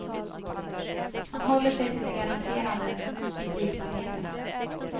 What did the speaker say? Man håller sig till de garanterade publikmagneterna.